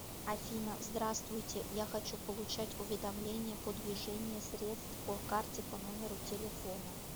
афина здравствуйте я хочу получать уведомления по движение средств по карте по номеру телефона